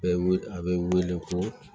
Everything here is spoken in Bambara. Bɛ wili a bɛ wele ko